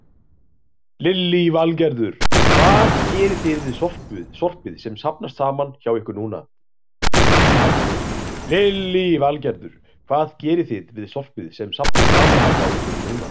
Lillý Valgerður: Hvað gerið þið við sorpið sem safnast saman hjá ykkur núna?